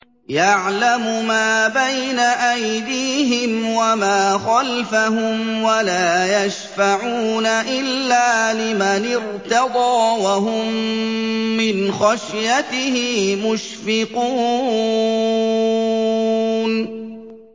يَعْلَمُ مَا بَيْنَ أَيْدِيهِمْ وَمَا خَلْفَهُمْ وَلَا يَشْفَعُونَ إِلَّا لِمَنِ ارْتَضَىٰ وَهُم مِّنْ خَشْيَتِهِ مُشْفِقُونَ